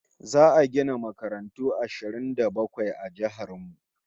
Za'a gina makarantu guda ashirin da bakwai a jihar mu